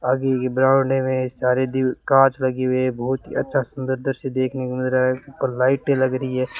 आधी की ग्राउंड में सारी दी कांच लगी हुई हैं बहुत ही अच्छा सुंदर तस्वीर देखने को मिल रहा है उपर लाइटें लग रही हैं।